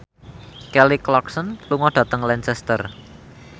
Kelly Clarkson lunga dhateng Lancaster